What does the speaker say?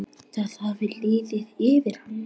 Það hafði liðið yfir hana!